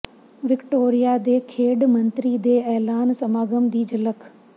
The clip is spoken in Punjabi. ਵਿਕਟੋਰੀਆ ਦੇ ਖੇਡ ਮੰਤਰੀ ਦੇ ਐਲਾਨ ਸਮਾਗਮ ਦੀ ਝਲਕ